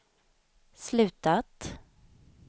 slutat